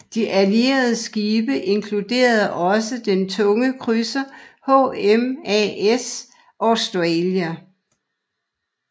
De Allierede skibe inkluderede også den tunge krydser HMAS Australia